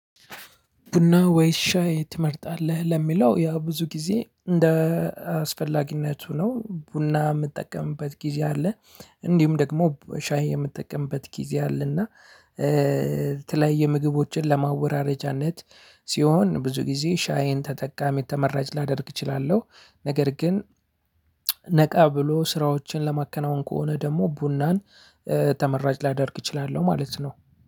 ቡና ወይስ ሻይ ትመርጣለህ? ለሚለው ያው ብዙ ጊዜ እንደ አስፈላጊነቱ ነው ቡና የምጠቀምበት ጊዜ አለ እንዲሁም ደግሞ ሻይ የምጠቀምበት ጊዜ አለ። እና የምግቦችን ለማወራረጃነት ሲሆን ብዙ ጊዜ ሻይን ተጠቃሚ ተመራጭ ላደርግ እችላለሁ። ነገር ግን ነቃ ብሎ ስራዎችን ለማከናወን ከሆነ ደግሞ ቡናን ተመራጭ ላደርግ እችላለሁ። ማለት ነው።